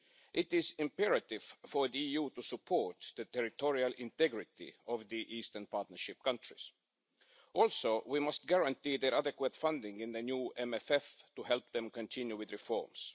It is imperative for the EU to support the territorial integrity of the Eastern Partnership countries. Also, we must guarantee adequate funding in the new MFF to help them continue with reforms.